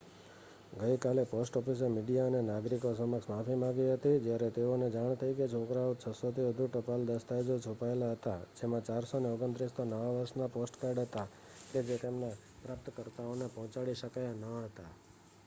ગઈકાલે પોસ્ટ ઓફિસે મીડિયા અને નાગરિકો સમક્ષ માફી માંગી હતી જ્યારે તેઓને જાણ થઈ કે તે છોકરાએ 600 થી વધુ ટપાલ દસ્તાવેજો છુપાવેલા હતા જેમાં 429 તો નવા વર્ષના પોસ્ટકાર્ડ હતા કે જે તેના પ્રાપ્તકર્તાઓને પહોંચાડી શકાયા ન હતા